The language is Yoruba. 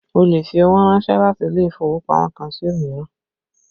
Ó lè fi owó ránsẹ́ láti ilé ìfowópamọ́ kan sí òmíràn